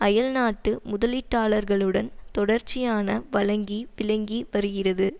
அயல் நாட்டு முதலீட்டாளர்களுடன் தொடர்ச்சியான வழங்கி விளங்கி வருகிறது